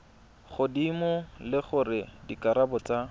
godimo le gore dikarabo tsa